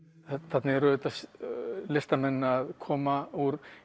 þarna eru auðvitað listamenn að koma úr